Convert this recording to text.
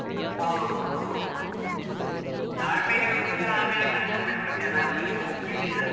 ಹೌದೂ, ತಾಳ್ಮೆ ಹೇಳುದಿಲ್ಲ, ಆಮೇಲೆ ಕಷ್ಟ ಪಡ್ಲಿಕ್ಕೆ ಜನ ಸರಿ ಒಪ್ಪು ಇದ್ದಿಲ್ಲ.